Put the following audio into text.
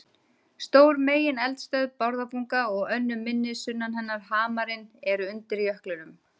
Stór megineldstöð, Bárðarbunga, og önnur minni sunnan hennar, Hamarinn, eru undir jöklinum.